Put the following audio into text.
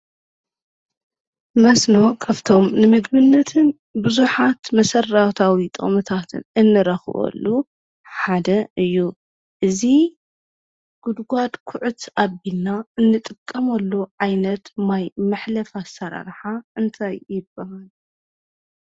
መስኖ ካብቶም ንምግብን ብዙሓት መሰረታዊ ጥቕምታት እንረኽበሉ ሓደ እዩ፡፡ እዚ ጉድጓድ ኩዕት ኣቢልና እንጠቀመሉ ዓይነት ማይ መሕለፊ ኣሰራርሓ እንታይ ይበሃል?